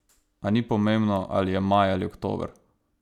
A ni pomembno, ali je maj ali oktober.